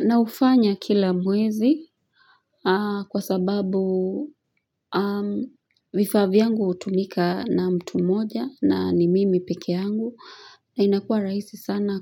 Na ufanya kila mwezi kwa sababu vifaa vyangu utumika na mtu moja na ni mimi peke yangu na inakua raisi sana